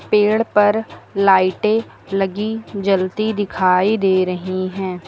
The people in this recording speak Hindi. पेड़ पर लाइटे लगी जलती दिखाई दे रही हैं।